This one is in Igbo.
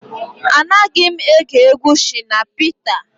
Anaghị m ege egwu Shina Peter